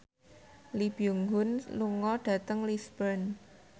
Lee Byung Hun lunga dhateng Lisburn